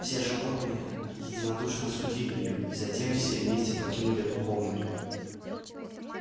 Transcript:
все животные единодушно осудили её и затем все вместе покинули эту комнату